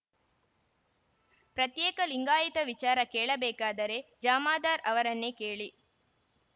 ಪ್ರತ್ಯೇಕ ಲಿಂಗಾಯತ ವಿಚಾರ ಕೇಳಬೇಕಾದರೆ ಜಾಮದರ್‌ ಅವರನ್ನೇ ಕೇಳಿ